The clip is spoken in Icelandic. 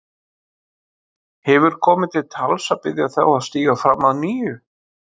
Hefur komið til tals að biðja þá að stíga fram að nýju?